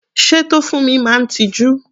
Sé Tofunmi máa ń tiju?